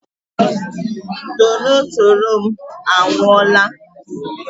Torotoro m anwụọla!